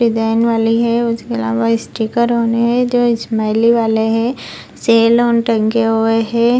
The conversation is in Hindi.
डिजाइन वाली है उसके अलावा स्टिकर ओन है वाले जो स्माइली वाले हे सेल ओन टंगे हुए हैं।